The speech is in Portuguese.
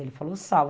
Ele falou, sal